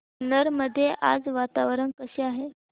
जुन्नर मध्ये आज वातावरण कसे आहे